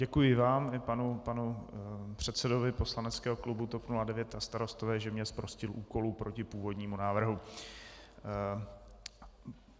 Děkuji vám i panu předsedovi poslaneckého klubu TOP 09 a Starostové, že mě zprostil úkolu proti původnímu návrhu.